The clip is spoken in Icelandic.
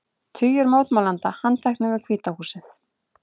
Tugir mótmælenda handteknir við Hvíta húsið